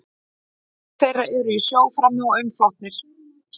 Nokkrir þeirra eru í sjó frammi og umflotnir.